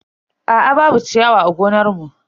Aa babu ciyawa a gonar mu.